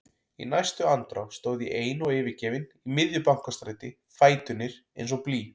Í næstu andrá stóð ég ein og yfirgefin í miðju Bankastræti, fæturnir eins og blý.